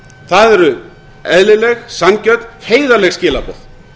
það eru eðlileg sanngjörn og heiðarleg skilaboð